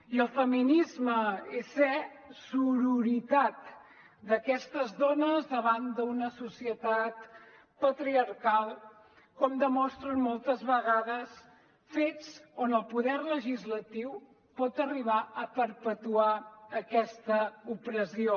i el feminisme és ser sororitat d’aquestes dones davant d’una societat patriarcal com demostren moltes vegades fets on el poder legislatiu pot arribar a perpetuar aquesta opressió